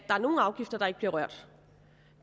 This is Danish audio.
er nogle afgifter der ikke bliver rørt